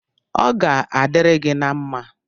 Ọ ga-adiri gị na mma